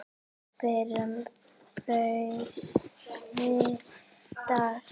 Meira brauð, piltar?